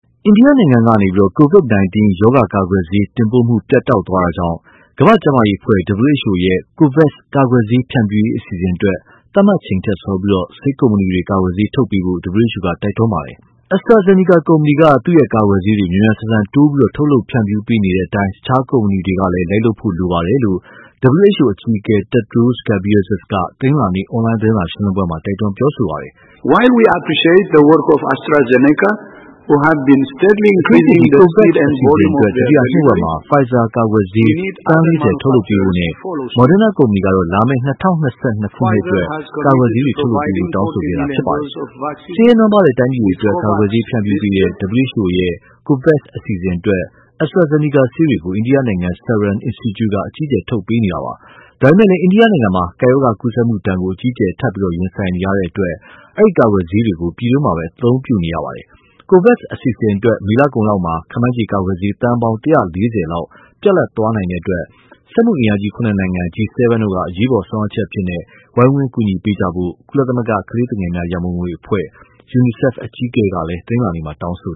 အိန္ဒိယနိုင်ငံကနေ COVID-19 ရောဂါကာကွယ်ဆေး တင်ပို့မှု ပြတ်တောက်သွားတာကြောင့် ကမ္ဘာ့ကျန်းမာရေးအဖွဲ့ WHO ရဲ့COVAX ကာကွယ်ဆေးဖြန့်ဖြူးရေး အစီအစဉ်အတွက် သတ်မှတ်ချိန်ထက်စောပြီး ဆေးကုမ္ပဏီတွေ ကာကွယ်ဆေးထုတ်ပေးဖို့ WHO ကတိုက်တွန်းလိုက်ပါတယ်။ “AstraZeneca ကုမ္ပဏီက သူ့ကာကွယ်ဆေးတွေ မြန်မြန်ဆန်ဆန် တိုးပြီးထုတ်လုပ်ဖြန့်ဖြူးပေးနေတဲ့အတိုင်း တခြားကုမ္ပဏီတွေလည်း လိုက်လုပ်ဖို့လိုပါတယ်။” လို့ WHO အကြီးအကဲ Tedros Adhanom Ghebreyesus က တနင်္လာနေ့ အွန်လိုင်း သတင်းစာရှင်းလင်းပွဲမှာ တိုက်တွန်းပြောဆိုသွားပါတယ်။ အထူးသဖြင့် COVAX အစီအစဉ်အတွက် ဒုတိယနှစ်ဝက်မှာ Pfizer ကာကွယ်ဆေးသန်း ၄၀ ထုတ်လုပ်ပေးဖို့နဲ့ Moderna ကုမ္ပဏီကတော့ လာမယ့် ၂၀၂၂ ခုနှစ်အတွက် ကာကွယ်ဆေးတွေ ထုတ်လုပ်ပေးဖို့ တောင်းဆိုခဲ့တာဖြစ်ပါတယ်။ ဆင်းရဲ နွမ်းပါးတဲ့တိုင်းပြည်တွေအတွက် ကာကွယ်ဆေးဖြန့်ဖြူးတဲ့ WHO ရဲ့ COVAX အစီအစဉ်အတွက် AstraZeneca ဆေးတွေကို အိန္ဒိယနိုင်ငံ Serum Institute က အကြီးအကျယ်ထုတ်လုပ်ပေးနေတာပါ။ ဒါပေမဲ့လည်း အိန္ဒိယမှာ ကပ်ရောဂါကူးစက်မှုဒဏ်ကို အကြီးအကျယ် ထပ်ပြီး ရင်ဆိုင်နေရတဲ့အတွက် အဲဒီကာကွယ်ဆေးတွေကို ပြည်တွင်းမှာပဲ အသုံးပြုနေရပါတယ်။ COVAX အစီအစဉ်အတွက် မေလကုန်လောက်မှာ ခန့်မှန်းခြေ ကာကွယ်ဆေးသန်းပေါင်း ၁၄၀ လောက်ပြတ်လပ်သွားနိုင်တဲ့အတွက် စက်မှုအင်အားကြီး ၇ နိုင်ငံ G7 တို့က အရေးအပေါ် ဆောင်ရွက်ချက်အဖြစ် ဝိုင်းဝန်း ကူညီပေးကြဖို့ ကုလသမဂ္ဂကလေးငယ်များရန်ပုံငွေအဖွဲ့ UNICEF အကြီးအကဲကလည်း တနင်္လာနေ့မှာ တောင်းဆို